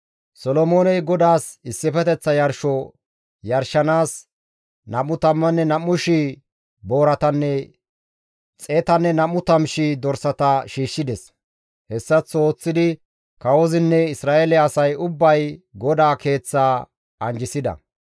Solomooney GODAAS issifeteththa yarsho yarshanaas 22,000 booratanne 120,000 dorsata shiishshides. Hessaththo ooththidi kawozinne Isra7eele asay ubbay GODAA Keeththaa anjjisida.